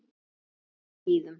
Eða á skíðum.